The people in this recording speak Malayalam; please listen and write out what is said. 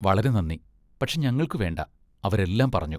വളരെ നന്ദി, പക്ഷെ ഞങ്ങൾക്ക് വേണ്ട, അവരെല്ലാം പറഞ്ഞു.